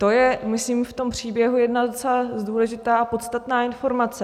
To je, myslím, v tom příběhu jedna docela důležitá a podstatná informace.